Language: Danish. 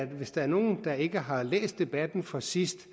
hvis der er nogle der ikke har læst debatten fra sidst